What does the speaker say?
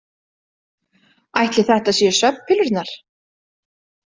Ætli þetta séu svefnpillurnar?